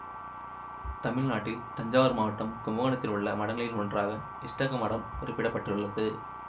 தமிழ்நாட்டில் தஞ்சாவூர் மாவட்டம் கும்பகோணத்தில் உள்ள மடங்களில் ஒன்றாக இஷ்டக மடம் குறிப்பிட பட்டுள்ளது